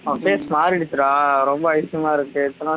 உன் face மாறிடிச்சுடா ரொம்ப அதிசயமா இருக்கு